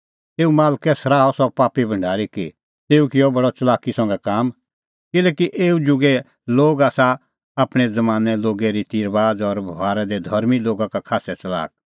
तेऊ मालकै सराहअ सह पापी भढारी कि तेऊ किअ बडी च़लाकी संघै काम किल्हैकि एऊ जुगे लोग आसा आपणैं ज़मानें लोगे रिती और बभारा दी धर्मीं लोगा का खास्सै च़लाक